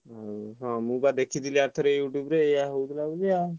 ହଁ ମୁଁ ବା ଦେଖିଥିଲି ଅରଥରକ YouTube ରେ ଏଇଆ ହଉଥିଲା ବୋଲି।